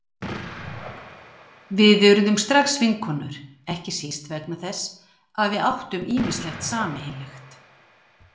Við urðum strax vinkonur, ekki síst vegna þess að við áttum ýmislegt sameiginlegt.